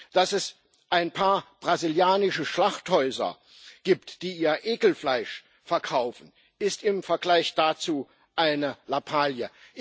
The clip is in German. Dass es ein paar brasilianische Schlachthäuser gibt, die ihr Ekelfleisch verkaufen, ist im Vergleich dazu eine Lappalie.